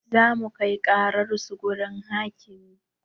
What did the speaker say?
Zamu kai ƙarar su wurin hakimi